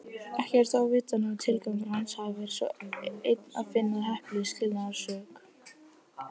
Ekki er þó vitað nema tilgangur hans hafi verið sá einn að finna heppilega skilnaðarsök.